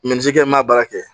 i m'a baara kɛ